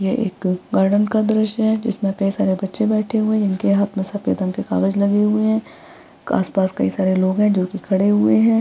यह एक गार्डन का दृश्य है जिसमें कई सारे बच्चे बैठे हुए हैं इनके हाथ में सफ़ेद रंग के कागज लगे हुए हैं आसपास कई सारे लोग हैं जो की खड़े हुए हैं।